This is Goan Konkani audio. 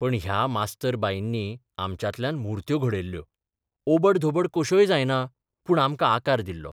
पण ह्या मास्तर बाईंनी आमच्यांतल्यान मुर्त्यो घडयल्लो ओबड धोबड कश्योय जायना, पूण आमकां आकार दिल्लो.